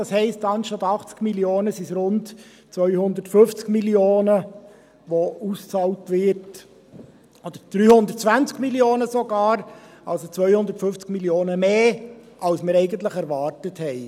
Das heisst, anstatt 80 Mio. Franken sind es rund 250 Mio. Franken, die ausgezahlt werden, oder sogar 320 Mio. Franken, also 250 Mio. Franken mehr, als wir eigentlich erwartet haben.